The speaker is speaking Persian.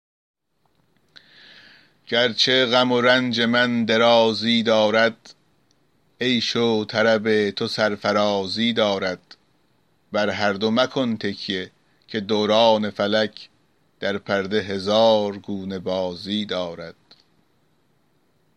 گرچه غم و رنج من درازی دارد عیش و طرب تو سرفرازی دارد بر هر دو مکن تکیه که دوران فلک در پرده هزار گونه بازی دارد